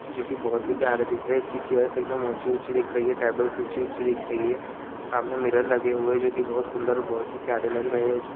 जो की बहुत ही प्यारे दिख रहे इसकी चेयर्स एकदम ऊंची ऊंची दिख रही है टेबल्स ऊंची ऊंची दिख रही है सामने मिरर लगे हुए जो की बहुत ही बहुत प्यारे लग रहे है।